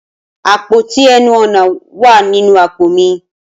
Apoti ẹnu-ọna wa ninu apo mi.